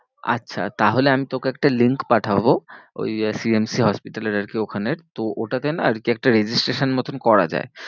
আচ্ছা তাহলে আমি তোকে একটা link পাঠাবো ওই CMC hospital এর আর কি ওখানের তো ওটাতে না আর কি একটা registration মতন করা যায়।